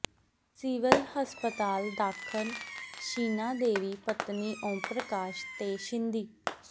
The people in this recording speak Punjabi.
ਸਿਵਲ ਹਸਪਤਾਲ ਦਾਖ਼ਲ ਛੀਨਾ ਦੇਵੀ ਪਤਨੀ ਓਮ ਪ੍ਰਕਾਸ਼ ਤੇ ਸ਼ਿੰਦੀ